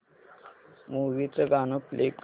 movie चं गाणं play कर